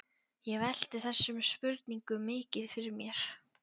Ég velti þessum spurningum mikið fyrir mér.